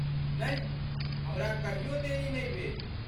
नहि, हमरा कहियो देरी नहि भेल।